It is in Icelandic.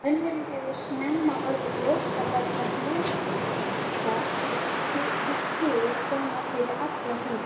Mönnum hefur snemma orðið ljóst að þetta hlutfall er hið sama fyrir alla hringi.